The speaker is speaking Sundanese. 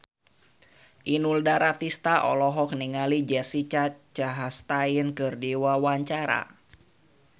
Inul Daratista olohok ningali Jessica Chastain keur diwawancara